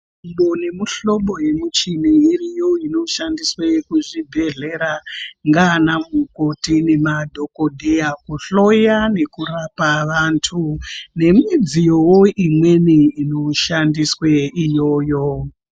Mihlobo nemuhlobo yemichini iriyo inoshandiswe kuzvibhedhlera ngaana mukoti nemadhokodheya kuhloya nekurapa vantu. Nemidziyowo imweni inoshandiswe iyoyo.